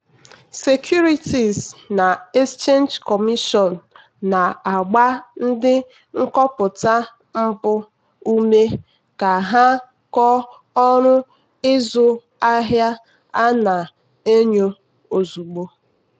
securities na exchange commision na-agba ndị nkọpụta mpụ ume ka ha kọọ ọrụ ịzụ ahịa a na-enyo ozugbo.